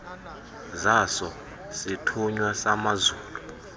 zaso sisithunywa samazulu